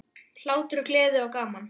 Hlátur, gleði og gaman.